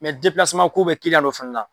Mɛ ko bɛ kiliɲanw dɔw fana na.